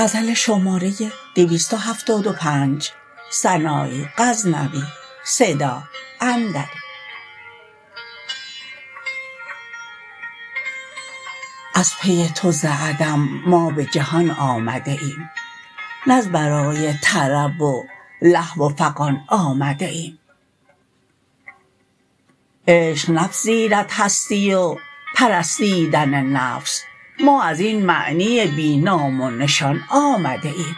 از پی تو ز عدم ما به جهان آمده ایم نز برای طرب و لهو و فغان آمده ایم عشق نپذیرد هستی و پرستیدن نفس ما ازین معنی بی نام و نشان آمده ایم